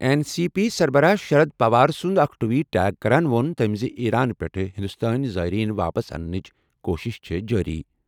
N C P سربراہ شرد پوار سُنٛد اکھ ٹویٹ ٹیگ کران ووٚن تٔمۍ زِ ایران پٮ۪ٹھ ہندوستٲنۍ زائرین واپس اننٕچ کوٗشش چھِ جٲری۔